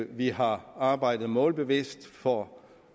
vi har arbejdet målbevidst for